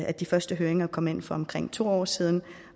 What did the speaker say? at de første høringer kom ind for omkring to år siden